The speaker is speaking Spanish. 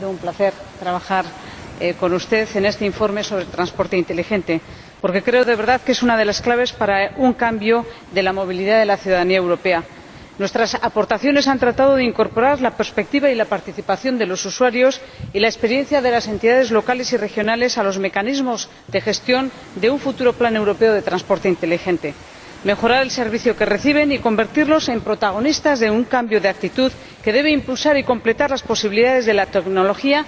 Ha sido un placer trabajar con usted en este informe sobre el transporte inteligente, porque creo, de verdad, que es una de las claves para un cambio en la movilidad de la ciudadanía europea. Nuestras aportaciones han tratado de incorporar la perspectiva y la participación de los usuarios y la experiencia de las entidades locales y regionales a los mecanismos de gestión de un futuro plan europeo de transporte inteligente. El primer objetivo de este informe es mejorar el servicio que reciben y convertirlos en protagonistas de un cambio de actitud que debe impulsar y completar las posibilidades de la tecnología.